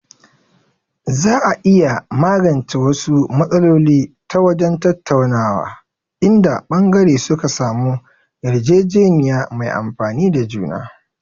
Za a iya magance wasu matsaloli ta wajen tattaunawa, inda ɓangare suka samu yarjejeniya mai amfani ga juna.